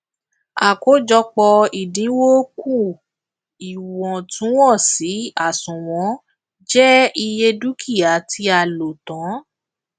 àkójọpọ ìdinwó kù iwọntúnwọnsì àsùnwọn je iye dúkìá tí a lò tán